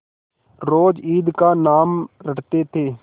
रोज ईद का नाम रटते थे